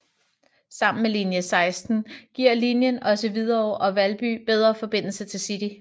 Sammen med linie 16 giver linien også Hvidovre og Valby bedre forbindelse til City